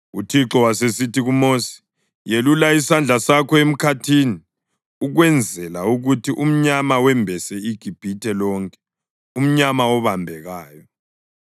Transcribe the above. UThixo wasesithi kuMosi, “Yelulela isandla sakho emkhathini ukwenzela ukuthi umnyama wembese iGibhithe lonke, umnyama obambekayo.”